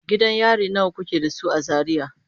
Gidan yari nawa kuke da su a Zaria?